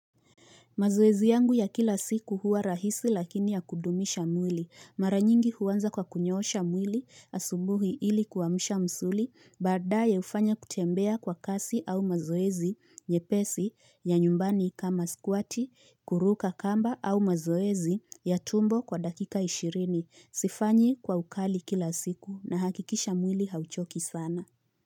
Mazoezi yangu ya kila siku huwa rahisi lakini ya kudumisha mwili. Mara nyingi huanza kwa kunyoosha mwili asubuhi ili kuamsha msuli. Baadaye ufanya kutembea kwa kasi au mazoezi nyepesi ya nyumbani kama squati, kuruka kamba au mazoezi ya tumbo kwa dakika ishirini. Sifanyi kwa ukali kila siku nahakikisha mwili hauchoki sana.